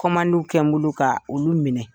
Kɔmandi kɛ n bolo ka olu minɛ.